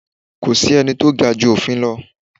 Kò sẹ́ ni tó ga ju òfin lọ.